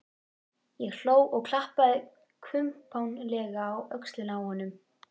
Ég hló og klappaði kumpánlega á öxlina á honum.